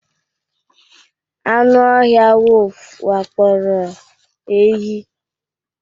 anụ ọhịa wolf wakporo ehi